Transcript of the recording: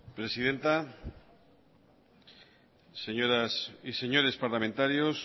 presidenta señoras y señores parlamentarios